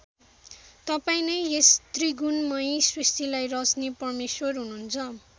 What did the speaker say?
तपाईँं नै यस त्रिगुणमयी सृष्टिलाई रचने परमेश्वर हुनुहुन्छ ।